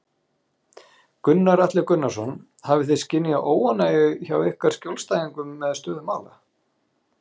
Gunnar Atli Gunnarsson: Hafið þið skynjað óánægju hjá ykkar skjólstæðingum með stöðu mála?